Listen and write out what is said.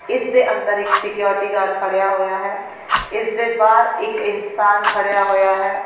ਇਸ ਦੇ ਅੰਦਰ ਇੱਕ ਸਕਿਉਰਿਟੀ ਗਾਰਡ ਖੜ੍ਹਿਆ ਹੋਇਆ ਹੈ ਇਸ ਦੇ ਬਾਹਰ ਇੱਕ ਇਨਸਾਨ ਖੜ੍ਹਿਆ ਹੋਇਆ ਹੈ।